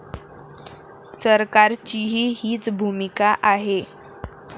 सरकारचीही हीच भूमिका आहे.